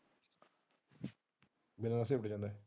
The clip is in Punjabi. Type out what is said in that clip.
ਮੇਰਾ ਆ ਸੀ ਉੱਡ ਜਾਂਦਾ।